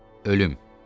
Ölüm.